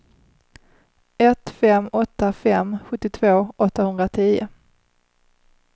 ett fem åtta fem sjuttiotvå åttahundratio